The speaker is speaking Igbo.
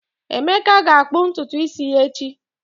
Emeka ga-akpụ ntutu isi ya echi